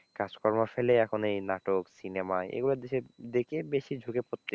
কাজকর্ম ফেলে এখন এই নাটক সিনেমা এগুলোর দিকে বেশি ঝুঁকে পড়ছে।